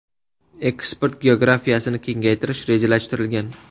Eksport geografiyasini kengaytirish rejalashtirilgan.